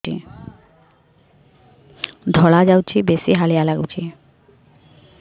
ଧଳା ଯାଉଛି ବେଶି ହାଲିଆ ଲାଗୁଚି